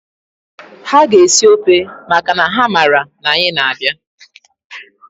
Ha ga-esi ọfe makana ha mara na anyị na-abịa.